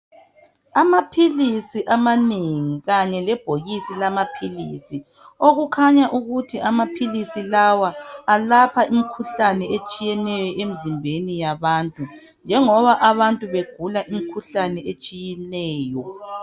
Amapilisi amanengi khanye lebhokisi lamapilisi okukhanya ukuthi amapilisi lawa alapha imikhuhlane etshiyeneyo emzimbeni yabantu njengoba abantu begula imikhuhlane etshiyeneyo.